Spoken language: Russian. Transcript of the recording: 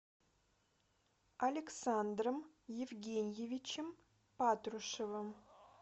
александром евгеньевичем патрушевым